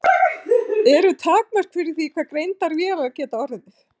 Eru takmörk fyrir því hve greindar vélar geta orðið?